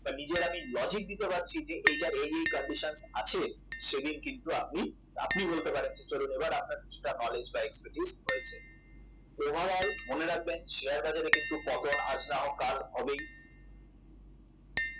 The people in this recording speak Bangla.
বা নিজের আমি logic দিতে পারছি যে এটার এই এই conditions আছে সেদিন কিন্তু আপনি আপনিই বলতে পারেন চলুন আপনার কিছুটা knowledge বা expertise হয়েছে over all মনে রাখবেন শেয়ার বাজারে কিন্তু পতন আজ না হোক কাল পতন হবেই